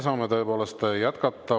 Saame tõepoolest jätkata.